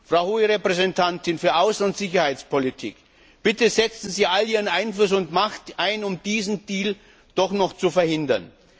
Frau Hohe Repräsentantin für Außen und Sicherheitspolitik, bitte setzen Sie all Ihren Einfluss und Ihre Macht ein, um diesen Deal doch noch zu verhindern.